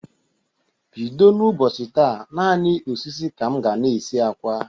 Bido n' ụbọchị taa, naanị osisi ka m ga-na esi akwa.